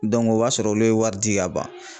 Dɔnku o b'a sɔrɔ olu ye wari di ka ban